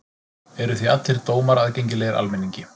Eru því allir dómar aðgengilegir almenningi.